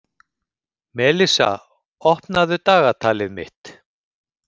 Melissa, opnaðu dagatalið mitt.